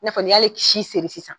I n'a fɔ ni y'ale ci seri sisan